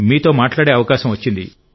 మీతో మాట్లాడే అవకాశం వచ్చింది